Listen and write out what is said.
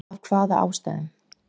Af hvaða ástæðum??????